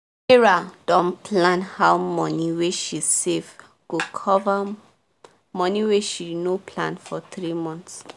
sarah don plan how money wey she save go cover money wey she no plan for three months